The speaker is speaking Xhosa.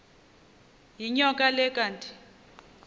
yinyoka le kanti